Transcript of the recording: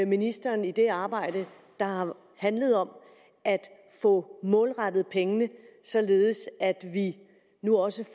ministeren i det arbejde der har handlet om at få målrettet pengene således at vi nu også